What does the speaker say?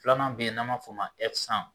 Filanan be yen n'an m'a fo ma